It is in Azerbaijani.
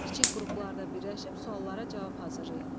Kiçik qruplarda birləşib suallara cavab hazırlayın.